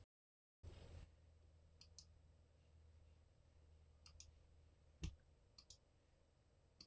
Magnús Hlynur: Eruð þið eitthvað að staupa ykkur á fjalli?